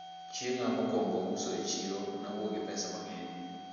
chienga mokwongo uso e chiro, nawuok gi pesa mangeny